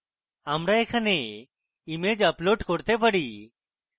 আমরা এখানে image upload করতে পারি